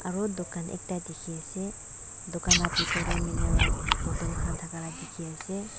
aro dukan ekta dikhiase dukan la bitor tae mineral bottle khan thaka la dikhae ase.